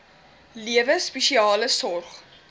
lewe spesiale sorg